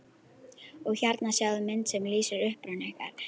Og hérna sjáiði mynd sem lýsir uppruna ykkar.